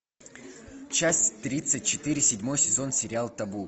часть тридцать четыре седьмой сезон сериал табу